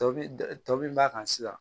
Tɔbili tɔbili b'a kan sisan